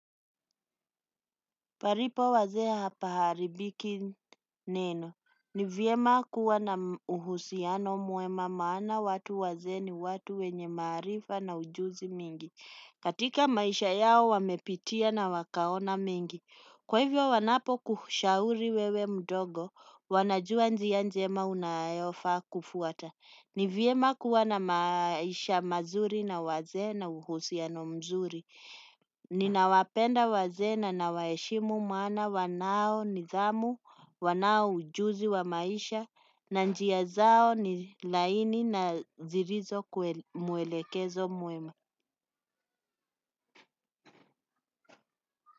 Palipo wazee hapaharibiki neno. Ni vyema kuwa na uhusiano mwema maana watu wazee ni watu wenye maarifa na ujuzi mingi. Katika maisha yao wamepitia na wakaona mengi. Kwa hivyo wanapokushauri wewe mdogo, wanajua njia njema unayofaa kufuata. Ni vyema kuwa na maisha mazuri na wazee na uhusiano mzuri. Ninawapenda wazee na nawaheshimu maana wanao nidhamu, wanao ujuzi wa maisha. Na njia zao ni laini na zilizo kweli, mwelekezo mwema.